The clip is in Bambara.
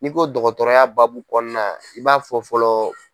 N'i ko dɔgɔtɔrɔya baabu kɔnɔna i b'a fɔ fɔlɔ.